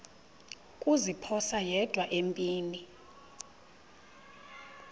kuziphosa yedwa empini